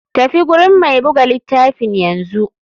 Tafi gurin mai buga litafin yanzu.